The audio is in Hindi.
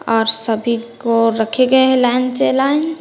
आप सभी को रखे गए हैं लाइन से लाइन ।